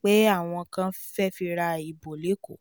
pé àwọn kan fẹ́ fi ra ìbò lẹ́kọ